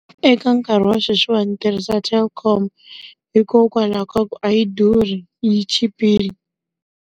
Eka nkarhi wa sweswiwani ndzi tirhisa Telkom, hikokwalaho ka ku a yi durhi yi chipile.